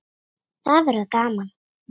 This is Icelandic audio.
Það verður gaman.